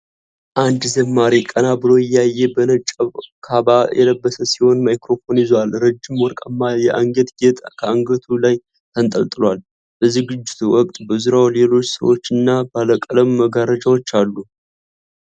አንድ ዘማሪ ቀና ብሎ እያየ በነጭ ካባ የለበሰ ሲሆን ማይክራፎን ይዟል። ረጅም ወርቃማ የአንገት ጌጥ ከአንገቱ ላይ ተንጠልጥሏል። በዝግጅቱ ወቅት በዙሪያው ሌሎች ሰዎች እና ባለቀለም መጋረጃዎች አለ።